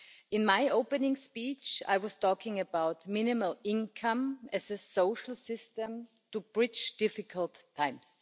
In my opening speech I was talking about minimum income as a social system to bridge difficult times.